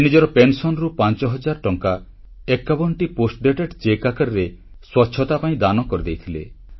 ସେ ନିଜର ପେନସନ୍ ରୁ 5000 ଟଙ୍କା 51ଟି ପୋଷ୍ଟଡେଟେଡ ଚେକ୍ ଆକାରରେ ସ୍ୱଚ୍ଛତା ପାଇଁ ଦାନ କରି ଦେଇଥିଲେ